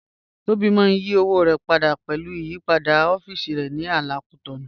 Tobi mà n yí òwò rẹ pádà pẹ̀lú ìyìpadà ọ̀fíìsì ní àlà Cotonou